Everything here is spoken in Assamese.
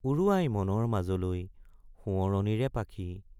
উৰুৱাই মনৰ মাজলৈ সোৱৰণীৰে পাখি ।